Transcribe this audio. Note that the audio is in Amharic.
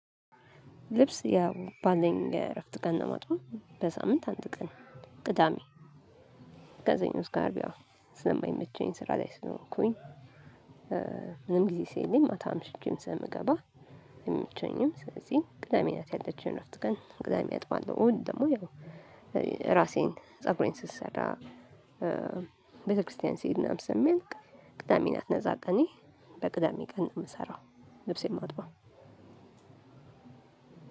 ልብስ ያው ባለኝ የእረፍት ቀን ነው ማጥበው በሳምንት አንድ ቀን ቅዳሜ ከሰኞ እስከ አርብ ያው ስለማይመቸኝ ስራ ላይ ስለሆንኩኝ። ምንም ጊዜ ስለሌለኝ ማታም አምሽቼም ስለምገባ አይመቸኝም። ስለዚህ ቅዳሜ ናት ያለችኝ እረፍት ግን ቅዳሜ አጥባለሁ እሁድ ደሞ ያው ራሴን ፀጉሬን ስሰራ። ቤተክርስቲያን ሲሄድ ምናምን ስለሚያልቅ ቅዳሜ ናት ነፃ ቀኔ። በቅዳሜ ቀን ነው ምሰራው ልብስ የማጥበው።